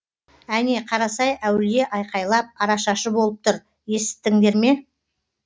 әне қарасай өулие айқайлап арашашы болып тұр есіттіңдер ме